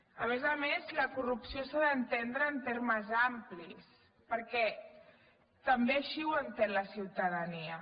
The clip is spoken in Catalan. a més a més la corrupció s’ha d’entendre en termes amplis perquè també així ho entén la ciutadania